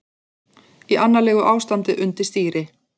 Í annarlegu ástandi undir stýri